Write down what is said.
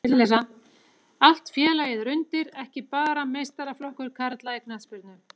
Allt félagið er undir, ekki bara meistaraflokkur karla í knattspyrnu.